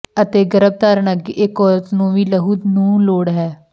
ਅਤੇ ਗਰੱਭਧਾਰਣ ਅੱਗੇ ਇੱਕ ਔਰਤ ਨੂੰ ਵੀ ਲਹੂ ਨੂੰ ਲੋੜ ਹੈ